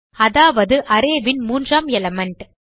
அதாவது arrayன் மூன்றாம் எலிமெண்ட்